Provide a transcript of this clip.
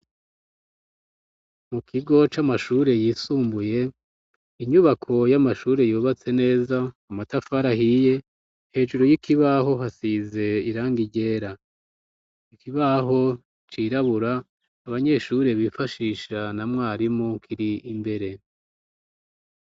Mu kigo c'amashure yisumbuye, inyubako y'amashuri yubatse neza, amatafari ahiye, hejuru y'ikibaho hasize irangi ryera, ikibaho cirabura abanyeshure bifashisha na mwarimu kiri imbere.